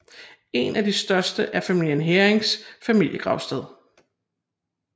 Et af de største er familien Heerings familiegravsted